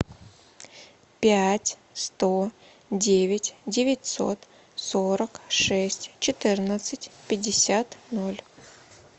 пять сто девять девятьсот сорок шесть четырнадцать пятьдесят ноль